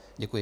Děkuji.